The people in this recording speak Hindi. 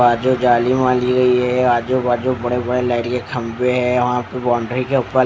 बाजू जाली माली गई है ये आजू बाजू बड़े बड़े लाइट के खंभे है वहां पे बाउंड्री के ऊपर--